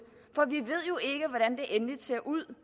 endeligt ser ud